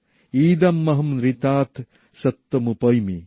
ইদমহমনৃতাত সত্যমুপৈমি